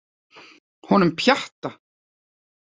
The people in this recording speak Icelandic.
Honum Pjatta?